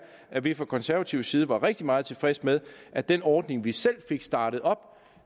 at vi fra konservativ side var rigtig meget tilfredse med at den ordning vi selv fik startet op